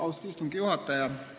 Austatud istungi juhataja!